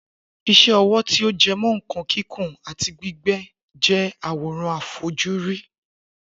Isé ọwọ́ tí ọ jẹmọ́ nkan kìkun ati gbígbé je awóran àfojúrí